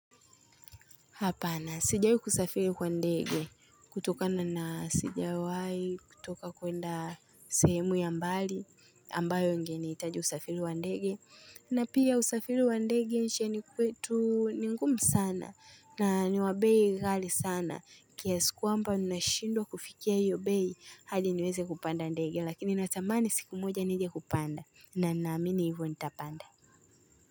Hapana, sijawahi kusafiri kwa ndege, kutokana na sijawahi, kutoka kuenda sehemu ya mbali, ambayo ingenihitaji usafiri kwa ndege. Na pia usafiri wa ndege maishani kwetu ni ngumu sana, na ni wa bei ghali sana, kiasi kwamba unashindwa kufikia iyo bei, hadi niweze kupanda ndege, lakini natamani siku moja nije kupanda, na naamini hivyo nitapanda.